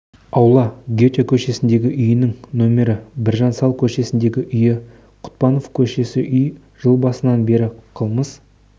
аула гете көшесіндегі үйінің нөмірі біржан сал көшесіндегі үйі құтпанов көшесі үй жыл басынан бері қылмыс